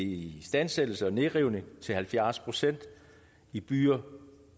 istandsættelse og nedrivning til halvfjerds procent i byer